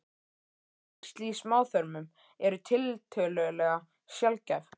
Æxli í smáþörmum eru tiltölulega sjaldgæf.